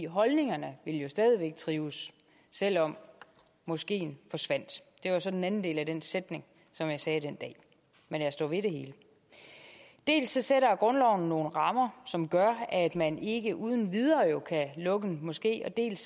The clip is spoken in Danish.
holdningerne ville stadig væk trives selv om moskeen forsvandt det er så den anden del af den sætning som jeg sagde den dag men jeg står ved det hele dels sætter grundloven nogle rammer som gør at man ikke uden videre kan lukke en moské dels